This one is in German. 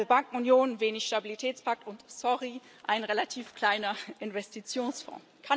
Eine halbe Bankenunion, wenig Stabilitätspakt und sorry ein relativ kleiner Investitionsfonds.